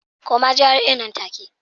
Koma GRA nan take